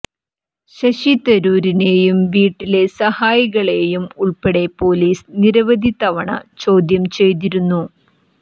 ശശി തരൂരിനെയൂം വീട്ടിലെ സഹായികളെയും ഉൾപ്പെടെ പൊലീസ് നിരവധി തവണ ചോദ്യംചെയ്തിരുന്നു